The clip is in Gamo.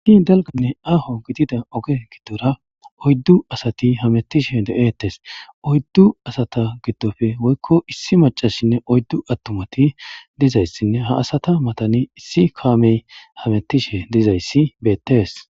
In dalganne aaho gidida oge giddora oyddu asati hamettishe de'eettes. oyddu asata giddoppe woykko issi macasshinne oyddu attumati dizayssinne ha asata matani issi kaamey hamettishe dizayssi beettees.